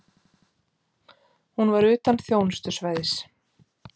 Hún var utan þjónustusvæðis.